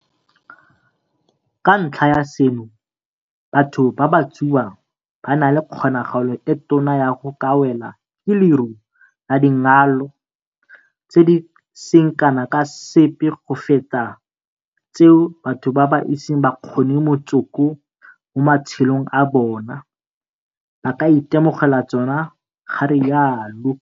Ka ntlha ya seno, batho ba ba tsubang ba na le kgonagalo e tona ya go ka welwa ke leru la dingalo tse di seng kana ka sepe go feta tseo batho ba ba iseng ba kgome motsoko mo matshelong a bona ba ka itemogelang tsona, ga rialo